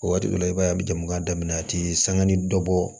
O waati i b'a ye a bɛ jama daminɛ a tɛ sanga ni dɔ bɔ